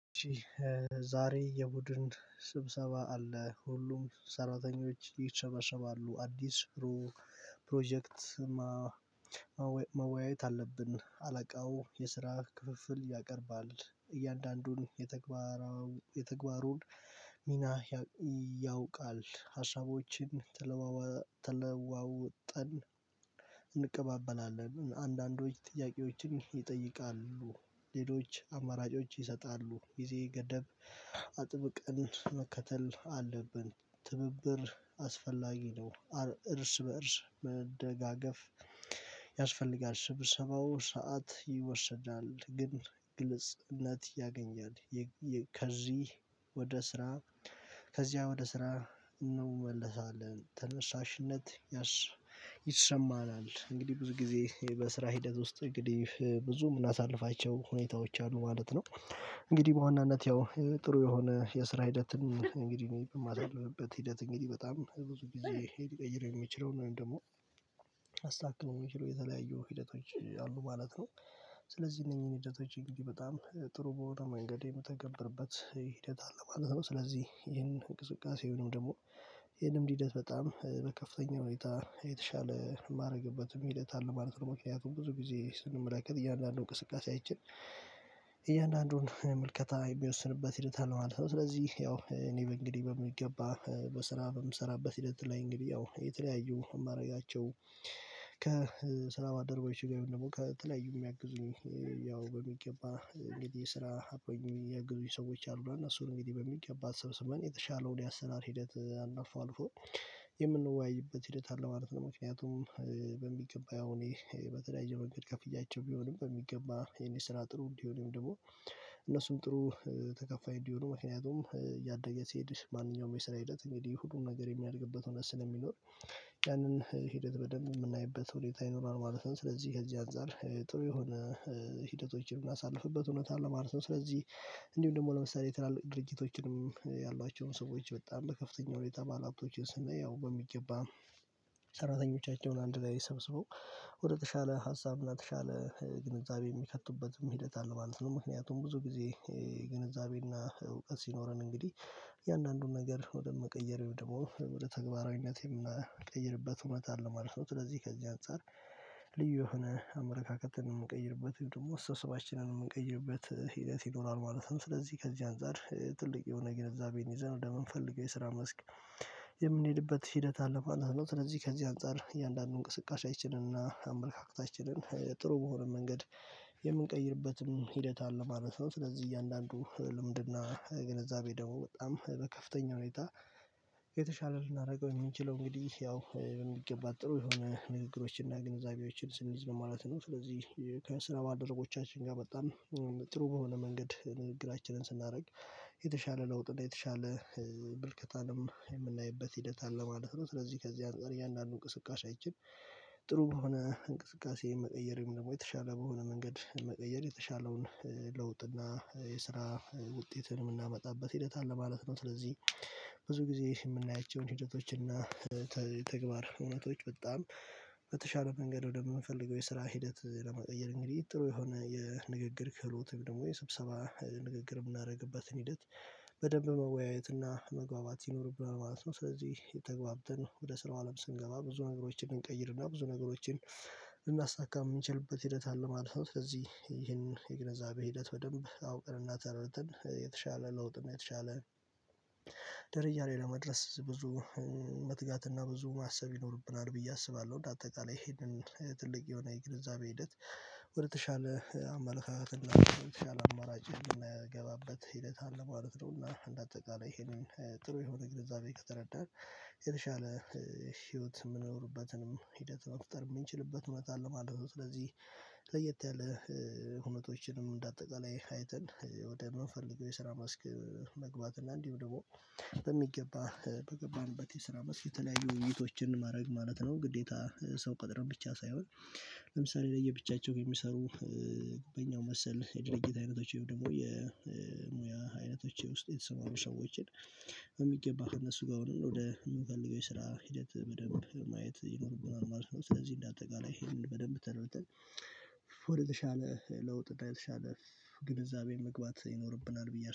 ዛሬ የቡድን ስብሰባ አለ ሁሉም ሰራተኞች ይሰባሰባሉ አዲስ ፕሮጀክት መወያየት አለብን አለቃው የስራ ክፍፍል ያቀርባል እያንዳንዱን የተግባሩን ሚና ያውቃል ሀሳቦችም ተለዋዋ ተለዋወጠን እንቀባበላለን አንዳንዶች ጥያቄዎችን ይጠይቃሉ ሌሎች አማራጮች ይሰጣሉ ጊዜ ገደብ አጥብቀን መከተል አለብን ትብብር አስፈላጊ ነው እርስ በእርስ መደጋገፍ ያስፈልጋል ስብሰባው ሰዓት ይወሰዳል ግን ግልጽ እለት ያገኛል። ከዚህ ወደ ስራ ከዚያ ወደ ስራ እንመለሳለን። ተነሳሽነት ይሰማናል እንግዲህ ብዙ ጊዜ በስራ ሂደት ውስጥ እንግዲህ ብዙም የምናሳልፋቸው ሁኔታዎች አሉ ማለት ነው። እንግዲህ በዋናነት ያው ጥሩ የሆነ የስራ ሂደትን እንግዲህ እኔ የማደርግበት ሂደት እንግዲህ በጣም ብዙ ጊዜ ሊቀይር የሚችለውን ደግሞ ላስታክመው የሚችለው የተለያየው ሂደቶች አሉ ማለት ነው። ስለዚህ እነኚህን ሂደቶች እንግዲህ በጣም ጥሩ በሆነ መንገድ የምተገብርበት ሂደት አለ ማለት ነው። ስለዚህ ይህንን እንቅስቃሴ ደግሞ ይህንን ሂደት በጣም በከፍተኛ ሁኔታ የተሻለ ማደረግበትም ሂደት አለ ማለት ነው። ምክንያቱም ብዙ ጊዜ ስንመለከት እያንዳንዱን እንቅስቃሴያችን እያንዳንዱን ምልከታ የሚወስንበት ሂደት አለ ማለት ነው። ስለዚህ ያው እኔ እንግዲህ በሚገባ በስራ በምሰራበት ሂደት ላይ እንግዲህ ያው የተለያዩ ማደረጋቸው ከስራ ባልደረቦቼ ጋር ወይም ደግሞ ከተለያዩ የሚያግዙኝ ያው በሚገባ እንግዲህ ስራ አብረውኝ የሚያግዙኝ ሰዎች አሉና እነሱን እንግዲህ በሚገባ ተሰብስበን የተሻለውን የአሰናል ሂደት አልፎ አልፎ የምንወያይበት ሂደት አለ ማለት ነው። ምክንያቱም በሚገባ ያው እኔ በተለያየ መንገድ ከፍያቸው ቢሆንም በሚገባ የኔ ስራ ጥሩ እንዲሆንም ደግሞ እነሱም ጥሩ ተከፋይ እንዲሆኑ ምክንያቱም ያደገ ሲሄድ ማንኛውም የስራ ሂደት እንግዲህ ሁሉን ነገር የሚያድግበት ሆኔታ ስለሚኖር ያንን ሂደት በደንብ የምናይበት ሁኔታ ይኖራል ማለት ነው። ስለዚህ ከዚህ አንፃር ጥሩ የሆነ ሂደቶችን ምናሳልፍበት ሁኔታ አለ ማለት ነው። ስለዚህ እንዲሁም ደግሞ ለምሳሌ የትላልቅ ድርጅቶችም ያሏቸውን ሰዎች በጣም በከፍተኛ ሁኔታ ባለሃብቶችን ስናየው በሚገባ ሰራተኞቻቸውን አንድ ላይ ሰብስበው ወደ ተሻለ ሀሳብ እና የተሻለ ግንዛቤ የሚከቱበት ሂደት አለ ማለት ነው። ምክንያቱም ብዙ ጊዜ ግንዛቤና እውቀት ሲኖረን እንግዲህ እያንዳንዱን ነገር ወደ መቀየር ወይም ደግሞ ወደ ተግባራዊነት የምንቀይርበት እውነት አለ ማለት ነው። ስለዚህ ከዚህ አንፃር ልዩ የሆነ አመለካከትን የምንቀይርበት ደግሞ ስብሰባችንን ነው የምንቀይርበት ሂደት ይኖራል ማለትም ስለዚህ ከዚህ አንፃር ትልቅ የሆነ ግንዛቤን ይዘን ወደምንፈልገው የስራ መስክ የምንሄድበት ሂደት አለ ማለት ነው። ስለዚህ ከዚህ አንፃር እያንዳንዱን እንቅስቃሴያችንን እና አመለካከታችንን ጥሩ በሆነ መንገድ የምንቀይርበትም ሂደት አለ ማለት ነው። ስለዚህ እያንዳንዱ ልምድና ግንዛቤ ደግሞ በጣም በከፍተኛ ሁኔታ የተሻለ ልናደርገው የምንችለው እንግዲህ ያው በሚገባ ጥሩ የሆነ ንግግሮችን እና ግንዛቤዎችን ስንይዝ ማለት ነው። ስለዚህ ከስራ ባልደረቦቻችን ጋር በጣም ጥሩ በሆነ መንገድ ንግግራችንን ስናደርግ የተሻለ ለውጥ የተሻለ ምልከታንም የምናይበት ሂደት አለ ማለት ነው። ስለዚህ ከዚህ አንፃር እያንዳንዱ እንቅስቃሴ ያችን ጥሩ በሆነ እንቅስቃሴ የምቀይረው ደግሞ የተሻለ በሆነ መንገድ መቀየር የተሻለውን ለውጥ እና የስራ ውጤትን የምናመጣበት ሂደት አለ ማለት ነው። ስለዚህ ብዙ ጊዜ የምናያቸውን ሂደቶች እና ተግባር እውነቶች በጣም በተሻለ መንገድ ወደምንፈልገው የስራ ሂደት ለመቀየር እንግዲህ ጥሩ የሆነ የንግግር ክህሎት ደግሞ የስብሰባ ንግግር የምናደርግበትን ሂደት በደንብ መወያየት እና መግባባት ይኖርብናል ማለት ነው። ስለዚህ የተግባብተን ወደ ስራው አለም ስንገባ ብዙ ነገሮችን እንቀይርና ብዙ ነገሮችን ልናሳካ የምንችልበት ሂደት አለ ማለት ነው። ስለዚህ የግንዘቤ ሂደት በደንብ አውቀን እና ተረድተን የተሻለ ለውጥ ነው የተሻለ ደረጃ ላይ ለመድረስ ብዙ መትጋትና ብዙ ማሰብ ይኖርብናል ብዬ አስባለሁ። እንደ አጠቃላይ ይሄንን ትልቅ የሆነ የግንዛቤ ሂደት ወደተሻለ አመለካከት እንዲሆነ አማራጭ የምናገባበት ሂደት አለ ማለት ነው። እና አንድ አጠቃላይ ይሄንን ጥሩ የሆነ ግንዛቤ ከተረዳን ህይወት የምንኖርበትንም ሂደት መፍጠር የምንችልበት እውነት አለ ማለት ነው። ስለዚህ ለየት ያለ ሁነቶችንም እንደ አጠቃላይ አይተን ወደ ምንፈልገው የስራ መስክ መግባት እና እንዲሁ ደግሞ በሚገባ በገባንበት የስራ መስክ የተለያዩ ውይይቶችን ማድረግ ማለት ነው። ግዴታ ሰው ቀጥረን ብቻ ሳይሆን ለምሳሌ ለየብቻቸው የሚሰሩ በኛው መሰል የድርጅት አይነቶቼም ደግሞ የሙያ አይነቶች ውስጥ የተሰማሩ ሰዎችን በሚገባ እነሱ ጋር ነው ወደ የምፈልገው የስራ ሂደት በደንብ ማየት ይኖርብናል ማለት ነው። ስለዚህ እንደ አጠቃላይ ይሄንን በደንብ ተረድተን ወደተሻለ ለውጥ እና የተሻለ ግንዛቤን መግባት ይኖርብናል ብዬ